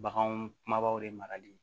Baganw kumabaw de marali